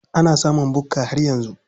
Ana samun bukka har yanzu.